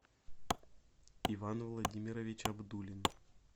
иван владимирович абдулин